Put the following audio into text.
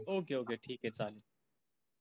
ok ok ठीक आहे चालेल.